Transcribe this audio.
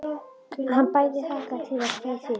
Hann bæði hlakkaði til og kveið fyrir.